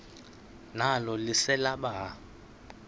nalo lise libaha